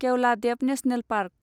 Keoladeo national park